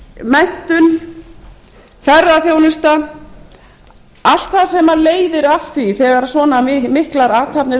menntun ferðaþjónusta allt það sem leiðir af því þegar svona miklar athafnir